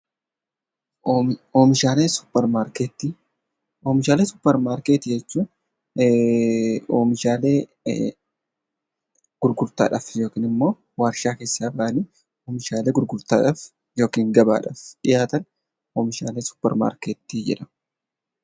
Oomishaalee suupparmaarkeetii jechuun oomishaalee gurgurtaadhaaf yookiin immoo warshaa keessaa bahanii gurgurtaadhaaf yookiin gabaadhaaf dhiyaatan oomishaalee suupparmaarkeetii jedhamu.